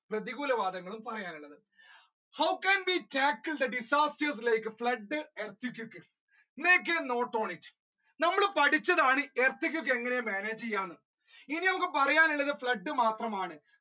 പ്രതികൂല വാദങ്ങളും പറയാനുള്ളത് how can we to the disaster like flood, earthquake, state your note on it നമ്മൾ പഠിച്ചതാണ് earthquake എങ്ങനെ manage ചെയ്യാം ഇനി നമ്മുക്ക് പറയാനുള്ളത് flood മാത്രമാണ്